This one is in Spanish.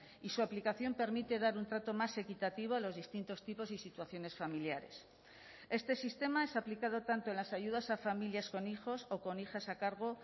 y su aplicación permite dar un trato más equitativo a los distintos tipos y situaciones familiares este sistema es aplicado tanto en las ayudas a familias con hijos o con hijas a cargo